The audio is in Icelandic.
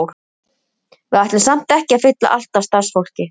Við ætlum samt ekki að fylla allt af starfsfólki.